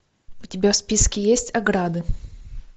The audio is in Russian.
у тебя в списке есть ограды